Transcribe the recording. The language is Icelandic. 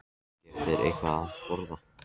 Og gefi mér eitthvað að borða.